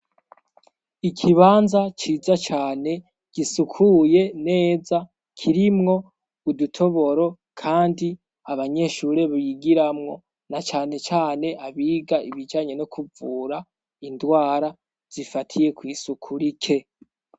Ikibanza ciza cyane gisukuye neza kirimwo udutoboro kandi abanyeshuri bigiramwo na cane cane abiga ibijyanye no kuvura indwara zifatiye kw'isuku rike.